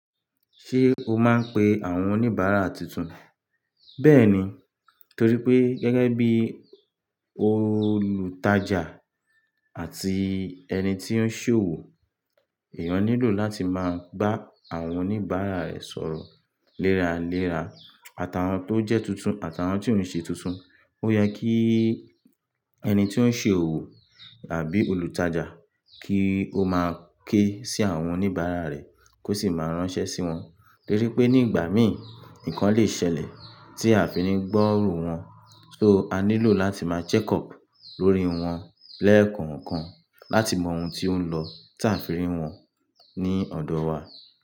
Ṣé o máa ń pe àwọn oníbàárà tuntun? Bẹ́ẹ̀ni, torí pé gẹ́gẹ́ bí olùtajà àti ẹni tí ó ń ṣ'òwò, èèyàn nílò láti máa gbá àwọn oníbàárà rẹ̀ sọ̀rọ̀ léra léra. Àtàwon tó jẹ́ tuntun, àtàwon tí ó ń ṣe tuntun, ó yẹ kí ẹni tí ó ń ṣe òwò àbí olùtajà kí ó máa ké sí àwọn oníbàárà rẹ̀ kó sì máa ránṣẹ́ sí wọn. Torí pé ní ìgbà mí, nǹkan lè ṣẹlẹ̀ tí a fi ni gbọ́rọ̀ wọ́n. So a nílò láti máa check up lórí wọn lẹ́ẹ̀kọ̀ọ̀kan láti mọ ohun tí ó ń lọ táa àfi rí wọn ní ọ̀dọ̀ wa.